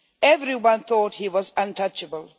Everyone thought he was untouchable.